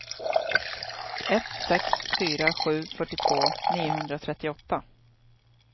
ett sex fyra sju fyrtiotvå niohundratrettioåtta